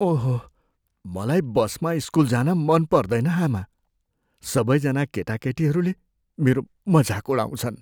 ओहो! मलाई बसमा स्कुल जान मन पर्दैन, आमा। सबैजना केटाकेटीहरूले मेरो मजाक उडाउँछन्।